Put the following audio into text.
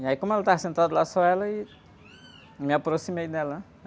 E aí, como ela estava sentada lá, só ela, aí... Eu me aproximei dela, hãn?